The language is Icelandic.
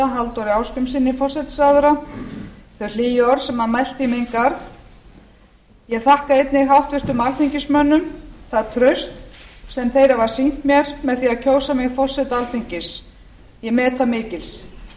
halldóri ásgrímssyni forsætisráðherra þau hlýju orð sem hann mælti í minn garð ég þakka einnig háttvirtum alþingismönnum það traust sem þeir hafa sýnt mér með því að kjósa mig forseta alþingis ég met það mikils ég á þá